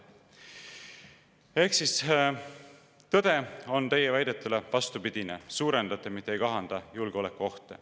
Ehk siis, tõde on teie väidetule vastupidine: te suurendate, mitte ei kahanda julgeolekuohte.